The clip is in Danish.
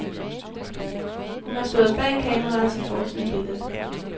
Hun har stået bag kameraet til forsidebilledet.